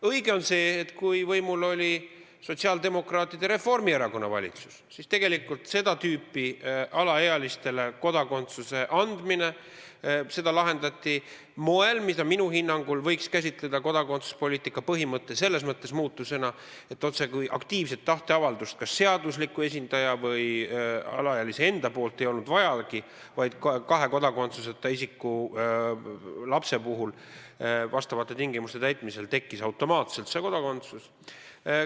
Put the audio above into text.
Õige on aga see, et kui võimul oli sotsiaaldemokraatide ja Reformierakonna valitsus, siis tegelikult lahendati seda tüüpi alaealistele kodakondsuse andmine moel, mida minu hinnangul võiks käsitleda kodakondsuspoliitika põhimõtte muutusena selles mõttes, et otsekui aktiivset tahteavaldust – kas seadusliku esindaja või alaealise enda poolt – ei olnud vajagi, vaid et kahe kodakondsuseta isiku lapse puhul vastavate tingimuste täitmisel tekkis kodakondsus automaatselt.